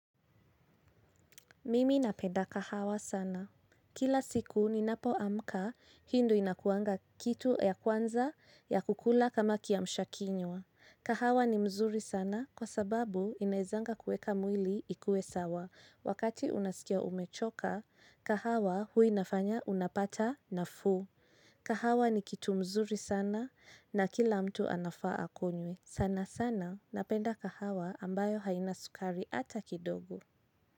Mimi napenda kahawa sana. Kila siku ninapoamka, hii ndo inakuanga kitu ya kwanza ya kukula kama kiamsha kinywa. Kahawa ni mzuri sana kwa sababu inaezanga kuweka mwili ikuwe sawa. Wakati unasikia umechoka, kahawa huwa inafanya unapata nafuu. Kahawa ni kitu mzuri sana na kila mtu anafaa akunywe. Sana sana napenda kahawa ambayo haina sukari hata kidogo.